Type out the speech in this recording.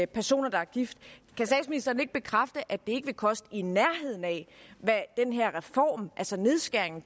personer der er gift kan statsministeren ikke bekræfte at det ikke vil koste et i nærheden af hvad den her reform altså nedskæringen